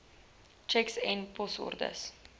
tjeks en posorders